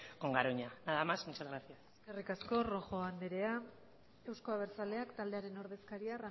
con garoña nada más muchas gracias eskerrik asko rojo andrea euzko abertzaleak taldearen ordezkaria